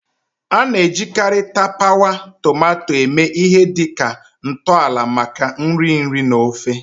A na-ejikarị tapawa tomato eme ihe dị ka ntọala maka nri nri na ofe.